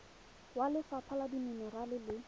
wa lefapha la dimenerale le